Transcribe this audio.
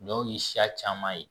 Dɔw ye siya caman ye